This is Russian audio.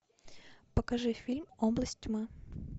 покажи фильм область тьмы